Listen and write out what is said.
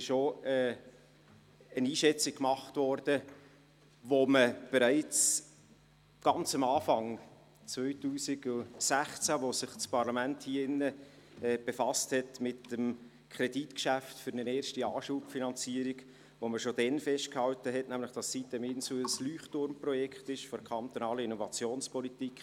Es ist auch eine Einschätzung gemacht worden, wonach man bereits ganz am Anfang, im Jahr 2016, als sich das Parlament mit dem Kredit geschäft für eine erste Anschubfinanzierung befasste, festgehalten hat, die sitem-insel sei ein Leuchtturmprojekt der kantonalen Innovationspolitik.